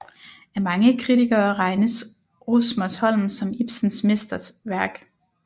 Af mange kritikere regnes Rosmersholm som Ibsens mesterværk